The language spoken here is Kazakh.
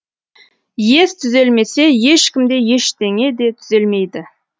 ес түзелмесе ешкім де ештеңе де түзелмейді